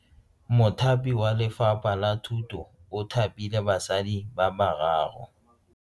Mothapi wa Lefapha la Thuto o thapile basadi ba ba raro.